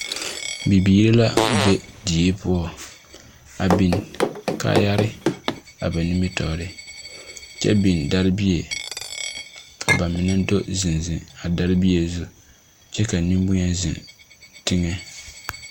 Bibiiri la be die poͻ, a biŋ kaayare a ba nimitͻͻre kyԑ biŋ dԑre bie ka ba mine do zeŋ zeŋ a dԑre bie zu kyԑ ka nemboŋyeni zeŋ teŋԑ.